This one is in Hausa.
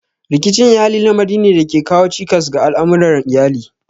Rikicin iyali lamari ne da ke kawo cikas ga al'amuran iyali.